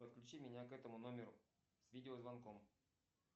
подключи меня к этому номеру с видеозвонком